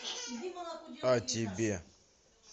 а тебе